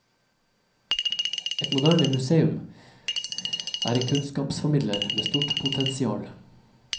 Et moderne museum er en kunnskapsformidler med stort potensial.